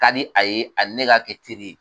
ka di a ye ani ne ka kɛ teri ye.